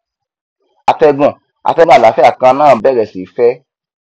atẹgùn atẹgùn àlàáfíà kan náà bẹrẹ sí í fẹ